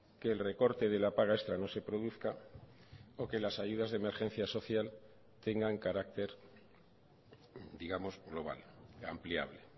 que el recorte de la paga extra no se produzca o que las ayudas de emergencia social tengan carácter digamos global ampliable